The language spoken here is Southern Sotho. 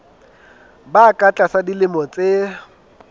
ba ka tlasa dilemo tse